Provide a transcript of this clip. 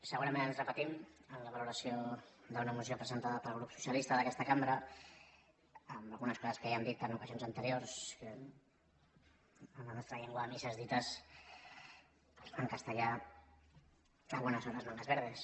segurament ens repetim en la valoració d’una moció presentada pel grup socialista d’aquesta cambra amb algunes coses que ja hem dit en ocasions anteriors que en la nostra llengua a misses dites en castellà a buenas horas mangas verdes